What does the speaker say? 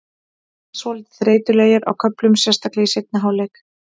Mér fannst við svolítið þreytulegir á köflum, sérstaklega í seinni hálfleik.